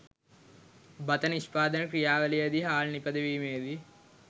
බත නිෂ්පාදන ක්‍රියාවලියේදී හාල් නිපදවීමේ දී